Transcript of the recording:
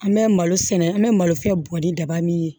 An bɛ malo sɛnɛ an bɛ malo fɛn bɔ ni daba min ye